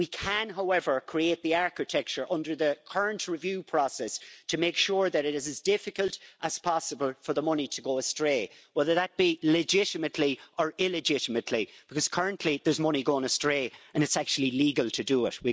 However, we can create the architecture under the current review process to make sure that it is as difficult as possible for the money to go astray whether that be legitimately or illegitimately because currently there's money going astray, and it's actually legal to do it.